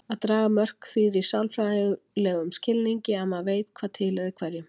Að draga mörk þýðir í sálfræðilegum skilningi að maður veit hvað tilheyrir hverjum.